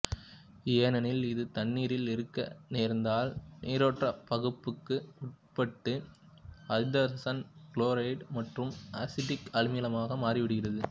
ஏனெனில் இது தண்ணீரில் இருக்க நேர்ந்தால் நீராற்பகுப்புக்கு உட்பட்டு ஐதரசன் குளோரைடு மற்றும் அசிட்டிக் அமிலமாக மாறிவிடுகிறது